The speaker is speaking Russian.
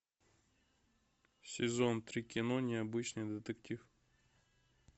сезон три кино необычный детектив